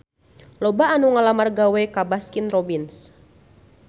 Loba anu ngalamar gawe ka Baskin Robbins